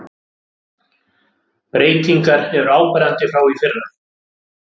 Breytingar eru áberandi frá í fyrra